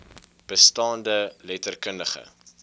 bestaande letter kundige